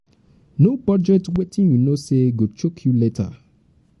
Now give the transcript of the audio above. no budget wetin you know sey go choke you later